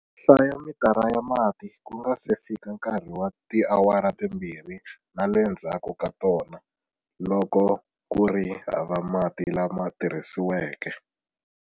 Hlaya mitara ya mati ku nga si fika nkarhi wa tiawara timbirhi na le ndzhaku ka tona, loko ku ri hava mati lama tirhisiweke.